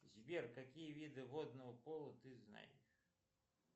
сбер какие виды водного поло ты знаешь